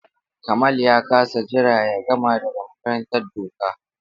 Kamal ya ƙasa jira ya gama daga makarantar doka.